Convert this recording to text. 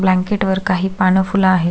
Blanket वर काही पान फुल आहेत.